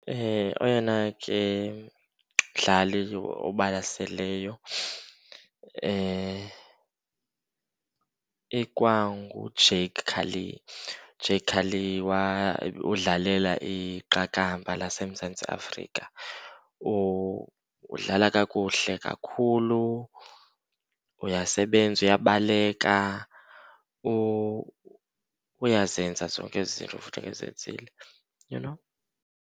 Oyena ke mdlali obalaseleyo ikwanguJacques Kallis. UJacques Kallis udlalela iqakamba laseMzantsi Afrika, udlala kakuhle kakhulu, uyasebenza uyabaleka, uyazenza zonke ezi zinto ekufuneka ezenzile, you know.